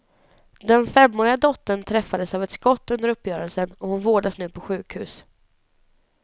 Den femåriga dottern träffades av ett skott under uppgörelsen och hon vårdas nu på sjukhus.